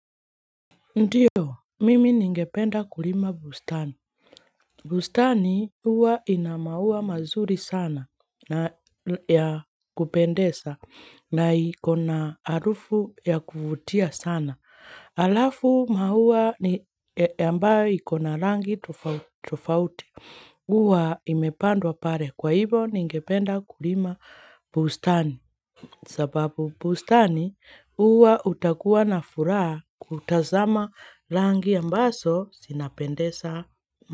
Ndiyo, mimi ningependa kulima bustani. Bustani huwa ina maua mazuri sana ya kupendeza na iko na arufu ya kuvutia sana. Halafu maua ni ambayo iko na rangi tofauti tofauti huwa imepandwa pale kwa hivo ningependa kulima bustani. Sababu bustani huwa utakuwa na furaha kutazama rangi ambazo zinapendeza maa.